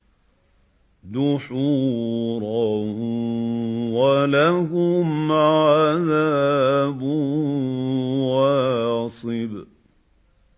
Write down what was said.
دُحُورًا ۖ وَلَهُمْ عَذَابٌ وَاصِبٌ